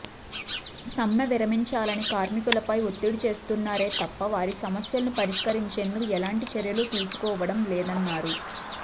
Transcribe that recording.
సమ్మె విరమించాలని కార్మికులపై ఒత్తిడి చేస్తున్నారే తప్ప వారి సమస్యలు పరిష్కరించేందుకు ఎలాంటి చర్యలూ తీసుకోవడం లేదన్నారు